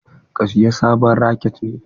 Ka saya sabon raket ne?